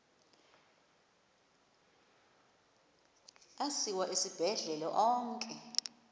asiwa esibhedlele onke